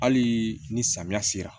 Hali ni samiya sera